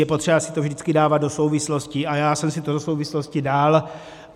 Je potřeba si to vždycky dávat do souvislostí a já jsem si to do souvislostí dal.